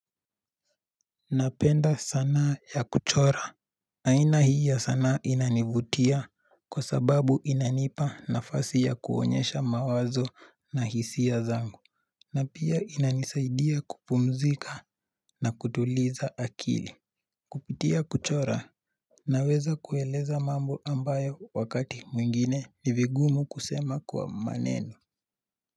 Napenda sanaa ya kuchora. Aina hii ya sanaa inanivutia kwa sababu inanipa nafasi ya kuonyesha mawazo na hisia zangu na pia inanisaidia kupumzika na kutuliza akili Kupitia kuchora Naweza kueleza mambo ambayo wakati mwingine nivigumu kusema kwa maneno.